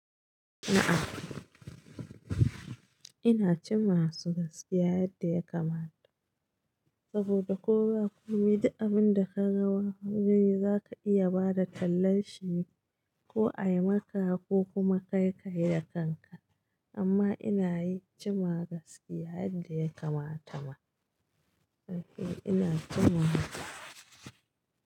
A'a ina jima masu gaskiya yadda ya kamata saboda ko ba komi, da abin da ka rawa, hanyoyi zaka iya bada tallan shine ko ayi maka ko kuma kayi ka yi da kanka. Amma ina yi jima gaskiya yadda ya kamata ma. Eh ina jima haka.